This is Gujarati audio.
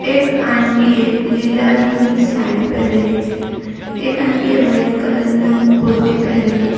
એક આંટી એ લીલા રંગની સાડી પહેરેલી છે એક આન્ટી એ વ્હાઈટ કલર ની કુર્તી પહેરેલી છે.